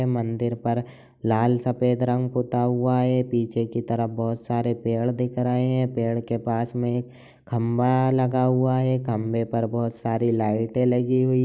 मन्दिर पर लाल सफेद रंग पुता हुआ है पीछे की तरफ बहोत सारे पेड़ दिख रहे हैं पेड़ के पास में खंबा लगा हुआ है खंबे पर बहोत सारी लाइटें लगी हुई --